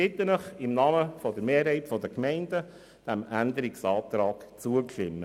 Ich bitte Sie, im Namen der Mehrheit der Gemeinden diesem Änderungsantrag zuzustimmen.